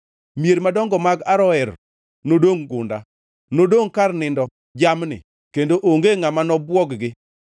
Mier madongo mag Aroer nodongʼ gunda nodongʼ kar nindo jamni kendo onge ngʼama nobwog-gi.